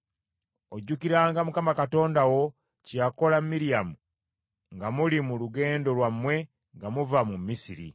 Ojjukiranga Mukama Katonda wo kye yakola Miryamu nga muli mu lugendo lwammwe nga muva mu Misiri.